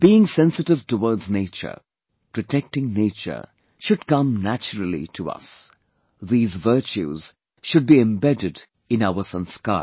Being sensitive towards nature, protecting nature, should come naturally to us; these virtues should be embedded in our sanskar